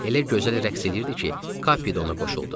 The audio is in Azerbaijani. Elə gözəl rəqs eləyirdi ki, Kapi də ona qoşuldu.